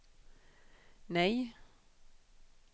nej